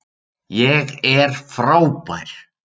ÉG ER FRÁBÆR.